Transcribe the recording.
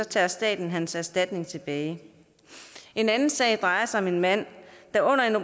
tager staten hans erstatning tilbage en anden sag drejer sig om en mand